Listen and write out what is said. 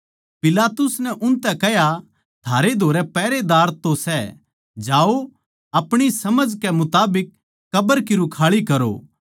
पिलातुस नै उनतै कह्या थारै धोरै पहरेदार तो सै जाओ अपणी समझकै मुताबिक कब्र की रुखाळी करो